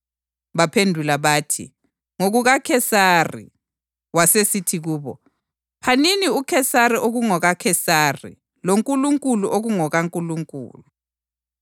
Baphendula bathi, “NgokukaKhesari.” Wasesithi kubo, “Phanini uKhesari okungokukaKhesari loNkulunkulu okungokukaNkulunkulu.”